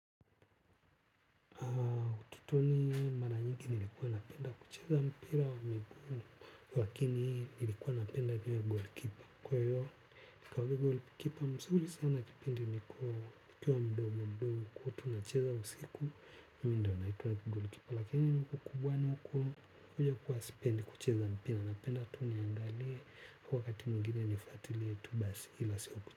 Utotoni mara nyingi nilikuwa napenda kucheza mpira wa miguu lakini nilikuwa napenda vile goalkeeper kwa hiyo kwa hiyo goalkeeper mzuri sana kipindi niko nikiwa mdogo mdogo tulikuwa tucheza usiku mida unaitwa goalkeeper lakini huku kubwani huku huja kuwa sipendi kucheza mpira napenda tu niangalie kwa wakati mwingine nifuatilie tu basi ila sio.